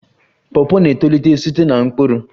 Pawpaw na-etolite site na mkpụrụ